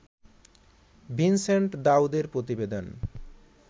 Vincent দাউদের প্রতিবেদন